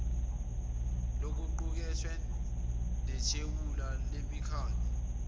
lokuqukethwe nethebula lemikhandlu